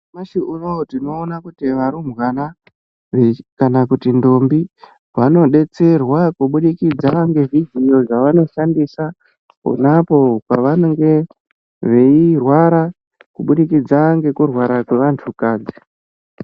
Nyashi unouyu tinoona kuti varumbwana kana kuti ndombi. Vanobetserwa kubudikidza ngezvidziyo zvavanoshandisa ponapo pavanenge veirwara, kubudikidza ngekurwara kwevantu kadzi.